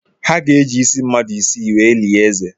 Ha ga-eji isi mmadụ isii wee lie eze.